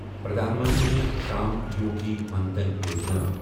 Pradhan Mantri Shram Yogi Maan Dhan Yojana